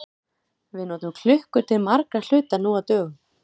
Við notum klukkur til margra hluta nú á dögum.